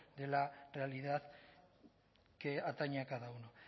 de la realidad que atañe a cada uno